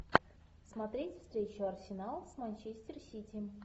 смотреть встречу арсенал с манчестер сити